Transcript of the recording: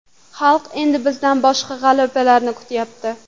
Xalq endi bizdan boshqa g‘alabalarni kutyapti.